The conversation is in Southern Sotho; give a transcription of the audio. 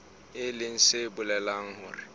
e leng se bolelang hore